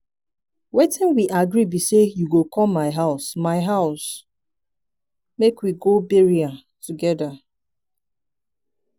wetin we agree be say you go come my house my house make we go burial together.